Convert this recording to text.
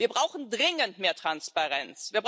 Wir brauchen dringend mehr Transparenz.